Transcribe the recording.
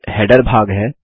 फिर हेडर भाग है